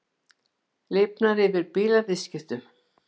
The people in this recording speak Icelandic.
Lifnar yfir bílaviðskiptum